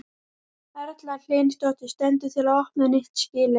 Erla Hlynsdóttir: Stendur til að opna nýtt skýli?